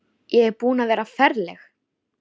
Ég er búin að vera ferleg.